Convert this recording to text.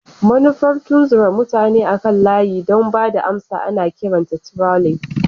Manufar tunzura mutane akan layi don ba da amsa ana kiranta trolling.